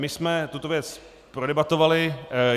My jsme tuto věc prodebatovali.